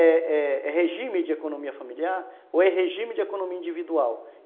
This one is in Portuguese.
É é é regime de economia familiar ou é regime de economia individual.